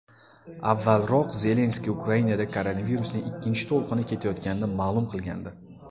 Avvalroq Zelenskiy Ukrainada koronavirusning ikkinchi to‘lqini ketayotganini ma’lum qilgandi .